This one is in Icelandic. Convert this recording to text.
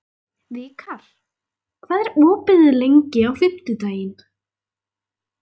Vikar, hvað er opið lengi á fimmtudaginn?